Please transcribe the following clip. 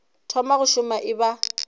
thoma go šoma e ba